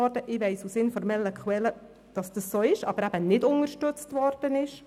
Aus informellen Quellen weiss ich, dass es eingereicht, aber nicht unterstützt worden ist.